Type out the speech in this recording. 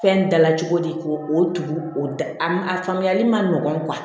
Fɛn dala cogo di k'o o tugu o a ma a faamuyali ma nɔgɔn